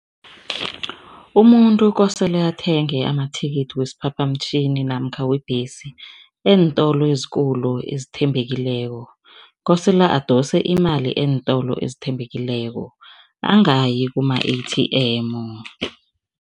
Umuntu kosele athenge amathikithi wesiphaphamtjhini namkha webhesi eentolo ezikulu ezithembekileko, kosele adose imali eentolo ezithembekileko, angayi kuma-A_T_M.